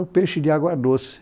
Ah, o peixe de água doce.